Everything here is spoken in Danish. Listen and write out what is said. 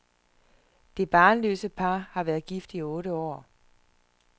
Det barnløse par har været gift i otte år.